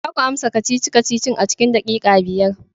Za ku amsa kacici-kacicin a cikin daƙiƙa biyar!